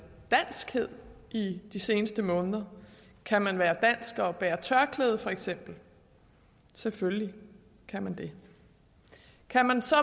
danskhed i de seneste måneder kan man være dansk og bære tørklæde feks selvfølgelig kan man det kan man så